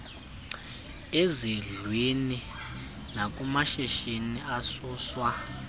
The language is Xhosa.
ezindlwini nakumashishini asuswa